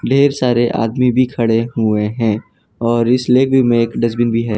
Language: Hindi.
ढेर सारे आदमी भी खड़े हुए हैं और इस लेवी में एक डस्टबिन भी है।